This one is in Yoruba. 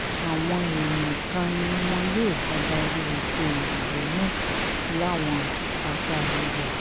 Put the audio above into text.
àwọn èèyàn kan ni wọn yóò dabarú ètò ìdìbò náà láwọn apá ibẹ̀